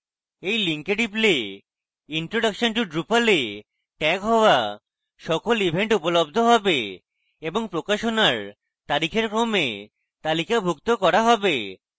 এই link টিপলে introduction to drupal এ ট্যাগ হওয়া সকল event উপলব্ধ হবে এবং প্রকাশনার তারিখের ক্রমে তালিকাভুক্ত করা হবে